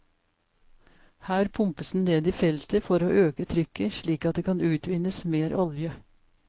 Her pumpes den ned i feltet for å øke trykket slik at det kan utvinnes mer olje.